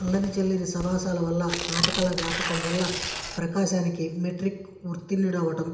అల్లరి చిల్లరి సావాసాల వల్లా నాటకాల వ్యాపకం వల్లా ప్రకాశానికి మెట్రిక్ ఉత్తీర్ణుడవడం